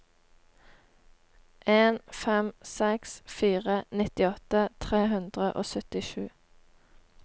en fem seks fire nittiåtte tre hundre og syttisju